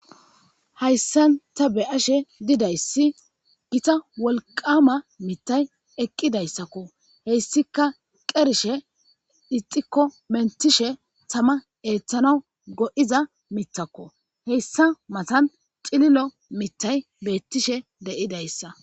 Hayssan ta beyashe didayssi gita wolqama mitay eqqidayssakko heyssika qershe ixikko mentishe tama eeththana go7iza mitakko heyssa matan cililo mittay beettishe deyidayssa.